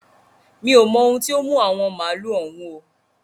Mi ò mo ohun tí ó mú àwọn màálu òun o.